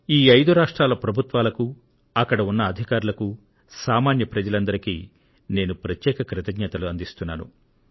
ఈ ఐదు రాష్ట్రాల ప్రభుత్వాలకు అక్కడ ఉన్న అధికారులకు సామాన్య ప్రజలందరికీ నేను ప్రత్యేక కృతజ్ఞతలు అందిస్తున్నాను